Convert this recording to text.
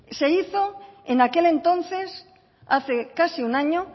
se hizo en aquel entonces hace casi un año